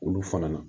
Olu fana na